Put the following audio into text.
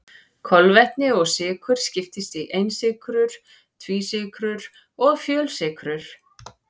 Kolvetni eða sykrur skiptast í einsykrur, tvísykrur og fjölsykrur.